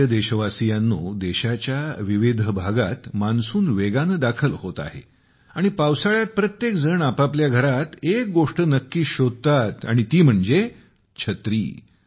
माझ्या प्रिय देशवासियांनो देशाच्या विविध भागात मान्सून वेगाने दाखल होत आहे आणि पावसाळ्यात प्रत्येकजण आपापल्या घरात एक गोष्ट नक्कीच शोधतात ती म्हणजे 'छत्री'